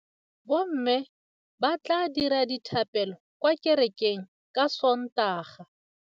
Bommê ba tla dira dithapêlô kwa kerekeng ka Sontaga.